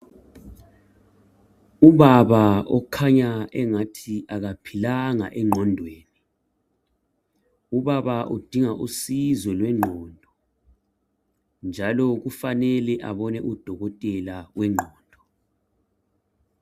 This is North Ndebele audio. Ubaba okhanya engathi akaphilanga engqondweni. Ubaba udinga usizo lwengqondo. Njalo kufanele abone udokotela wengqondo.